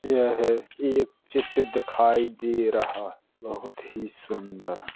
यह एक चित्र दिखाई दे रहा है बहुत ही सुन्दर --